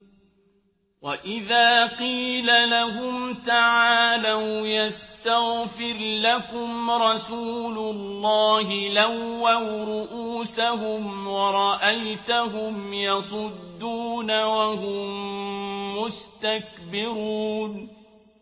وَإِذَا قِيلَ لَهُمْ تَعَالَوْا يَسْتَغْفِرْ لَكُمْ رَسُولُ اللَّهِ لَوَّوْا رُءُوسَهُمْ وَرَأَيْتَهُمْ يَصُدُّونَ وَهُم مُّسْتَكْبِرُونَ